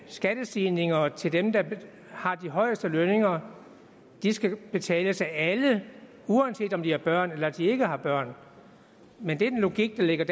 skattestigninger til dem der har de højeste lønninger skal betales af alle uanset om de har børn eller om de ikke har børn men den logik der ligger